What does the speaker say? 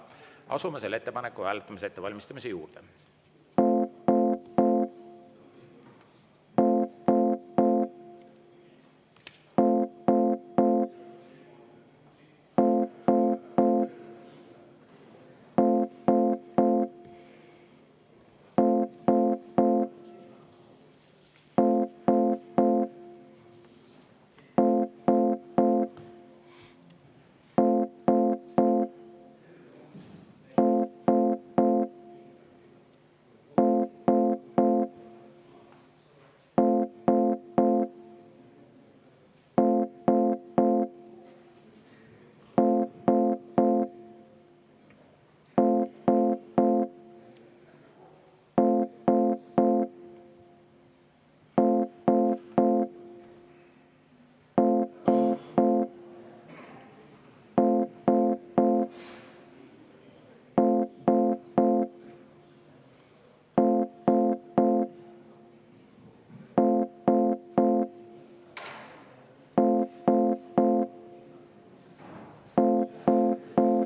Asume selle ettepaneku hääletamise ettevalmistamise juurde.